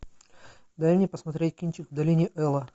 дай мне посмотреть кинчик в долине эла